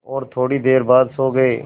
और थोड़ी देर बाद सो गए